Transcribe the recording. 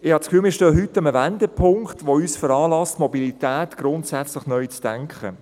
Ich habe das Gefühl, wir stehen heute an einem Wendepunkt, der uns veranlasst, die Mobilität grundsätzlich neu zu denken.